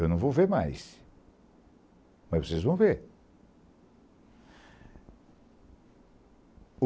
Eu não vou ver mais, mas vocês vão ver.